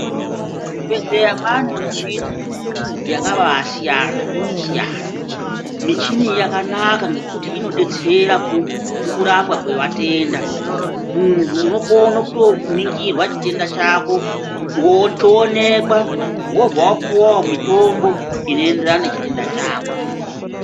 Muzvibhedhleya mane michini yakaba siyana-siyana, michini iyi yakanaka nekuti inobetsera mukurapwa kwevatenda. Muntu unokona kutoningirwa chitenda chako choonekwa qobva wapiwavo mitombo inoenderana nechitenda chako.